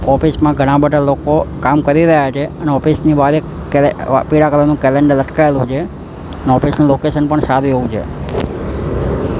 Office માં ઘણા બધા લોકો કામ કરી રહ્યા છે અને ઑફિસ ની બાર એક કેલે પીળા કલર નું કેલેન્ડર લટકાવેલું છે ઑફિસ નું લોકેશન પણ સારું એવું છે.